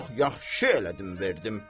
Çox yaxşı elədim, verdim.